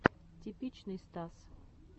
типичный стас